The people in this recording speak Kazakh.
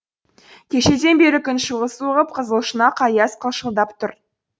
кешеден бері күн шұғыл суығып қызыл шұнақ аяз қылшылдап тұр